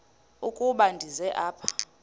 ukuba ndize apha